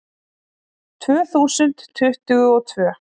Tvö þúsund tuttugu og tvö